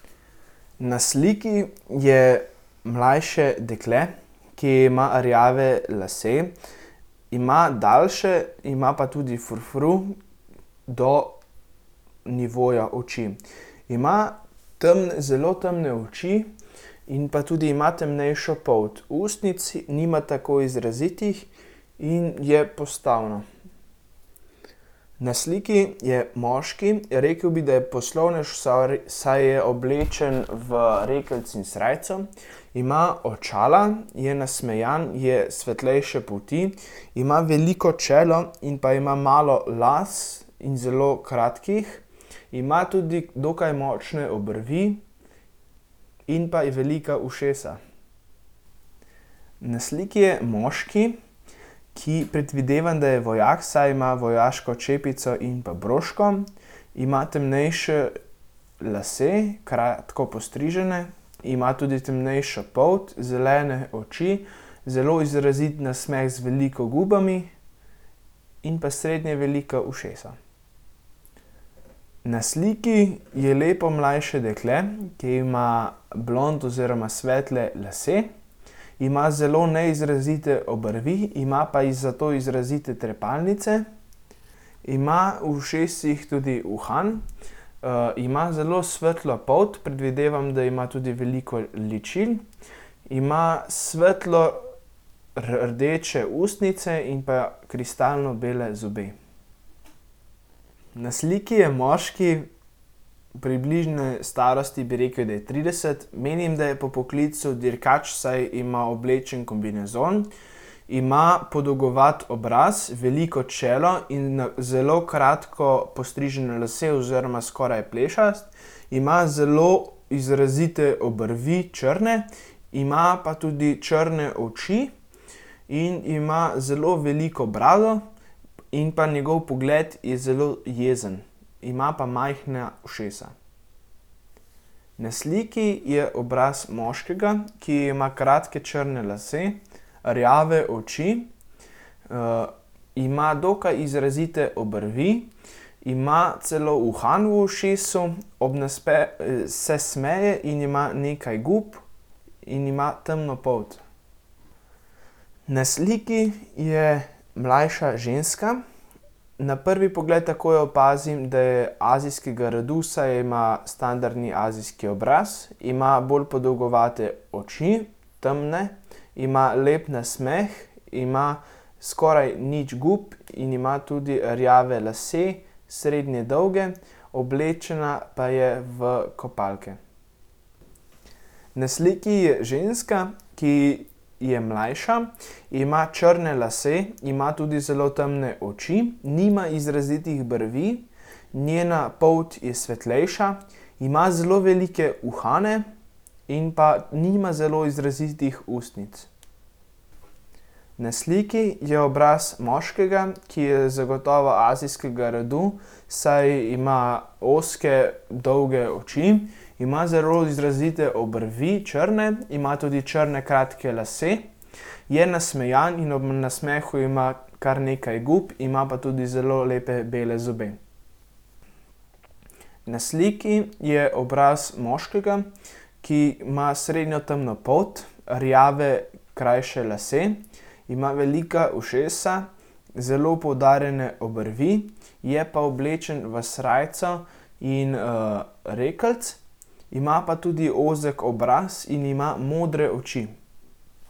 Na sliki je mlajši dekle, ki ima rjave lase, ima daljše, ima pa tudi frufru do nivoja oči. Ima zelo temne oči in pa tudi ima temnejšo polt. Ustnic nima tako izrazitih in je postavna. Na sliki je moški, rekel bi, da je poslovnež, sar, saj je oblečen v rekelc in srajco. Ima očala, je nasmejan, je svetlejše polti, ima veliko čelo in pa ima malo las in zelo kratkih. Ima tudi dokaj močne obrvi in pa velika ušesa. Na sliki je moški, ki predvidevam, da je vojak, saj ima vojaško čepico in pa broško. Ima temnejše lase, kratko postrižene, ima tudi temnejšo polt, zelene oči, zelo izrazit nasmeh z veliko gubami in pa srednje velika ušesa. Na sliki je lepo mlajše dekle, ki ima blond oziroma svetle lase. Ima zelo neizrazite obrvi, ima pa zato izrazite trepalnice. Ima v ušesih tudi uhan, ima zelo svetlo polt, predvidevam, da ima tudi veliko ličil. Ima svetlo rdeče ustnice in pa kristalno bele zobe. Na sliki je moški, približne starosti, bi rekel, da je trideset. Menim, da je po poklicu dirkač, saj ima oblečen kombinezon. Ima podolgovat obraz, veliko čelo in na zelo kratko postrižene lase oziroma skoraj plešast. Ima zelo izrazite obrvi, črne. Ima pa tudi črne oči in ima zelo veliko brado in pa njegov pogled je zelo jezen. Ima pa majhna ušesa. Na sliki je obraz moškega, ki ima kratke črne lase, rjave oči, ima dokaj izrazite obrvi, ima celo uhan v ušesu, ob se smeje in ima nekaj gub in ima temno polt. Na sliki je mlajša ženska. Na prvi pogled takoj opazim, da je azijskega rodu, saj ima standardni azijski obraz, ima bolj podolgovate oči, temne. Ima lep nasmeh, ima skoraj nič gub in ima tudi rjave lase, srednje dolge, oblečena pa je v kopalke. Na sliki je ženska, ki je mlajša, ima črne lase, ima tudi zelo temne oči, nima izrazitih brvi. Njena polt je svetlejša, ima zelo velike uhane in pa nima zelo izrazitih ustnic. Na sliki je obraz moškega, ki je zagotovo azijskega rodu, saj ima ozke, dolge oči. Ima zelo izrazite obrvi, črne, ima tudi črne kratke lase. Je nasmejan in ob nasmehu ima kar nekaj gub, ima pa tudi zelo lepe bele zobe. Na sliki je obraz moškega, ki ima srednjo temno polt, rjave krajše lase, ima velika ušesa. Zelo poudarjene obrvi, je pa oblečen v srajco in, rekelc. Ima pa tudi ozek obraz in ima modre oči.